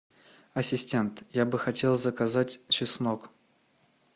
ассистент я бы хотел заказать чеснок